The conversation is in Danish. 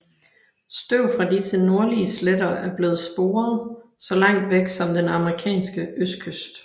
Støv fra disse nordlige sletter er blevet sporet så langt væk som den amerikanske østkyst